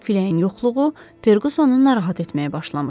Küləyin yoxluğu Fergasonu narahat etməyə başlamışdı.